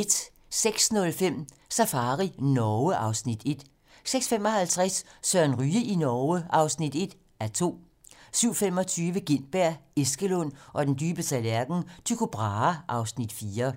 06:05: Safari Norge (Afs. 1) 06:55: Søren Ryge i Norge (1:2) 07:25: Gintberg, Eskelund og den dybe tallerken: Tycho Brahe (Afs. 4)